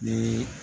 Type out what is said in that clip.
Ni